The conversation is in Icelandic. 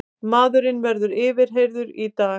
Maðurinn verður yfirheyrður í dag